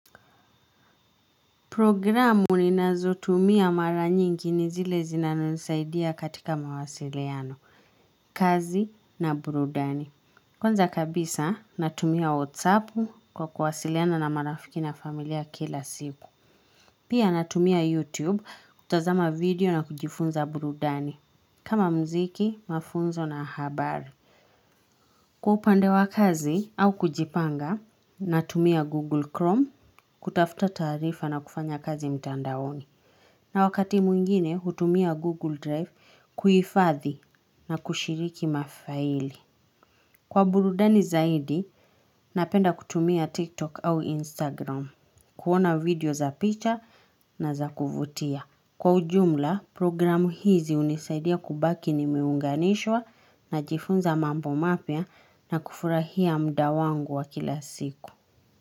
Programu ni nazo tumia mara nyingi ni zile zina nisaidia katika mawasiliano, kazi na burudani. Kwanza kabisa natumia WhatsApu kwa kuwasiliana na marafiki na familia kila siku. Pia natumia YouTube kutazama video na kujifunza burudani. Kama mziki, mafunzo na habari. Kwa upande wa kazi au kujipanga, natumia Google Chrome kutafuta taarifa na kufanya kazi mtandaoni. Na wakati mwingine hutumia Google Drive kuifadhi na kushiriki mafaili. Kwa burudani zaidi, napenda kutumia TikTok au Instagram, kuona video za picha na za kuvutia. Kwa ujumla, programu hizi hunisaidia kubaki nimeunganishwa najifunza mambo mapya na kufurahia mda wangu wa kila siku.